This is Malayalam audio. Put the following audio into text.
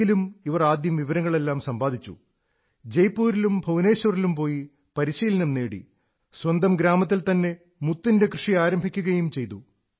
എങ്കിലും ഇവർ ആദ്യം വിവരങ്ങളെല്ലാം സമ്പാദിച്ചു ജയ്പൂരിലും ഭവനേശ്വരിലും പോയി പരിശീലനം നേടി സ്വന്തം ഗ്രാമത്തിൽത്തന്നെ മുത്തിന്റെ കൃഷി ആരംഭിക്കുകയും ചെയ്തു